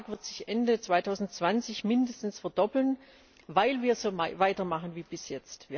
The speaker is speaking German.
Dieser Betrag wird sich Ende 2020 mindestens verdoppeln, weil wir so weitermachen wie bisher.